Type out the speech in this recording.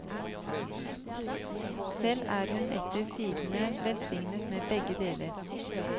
Selv er hun etter sigende velsignet med begge deler.